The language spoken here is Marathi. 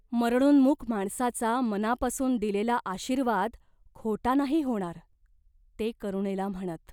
मरणोन्मुख माणसाचा मनापासून दिलेला आशीर्वाद खोटा नाही होणार." ते करुणेला म्हणत.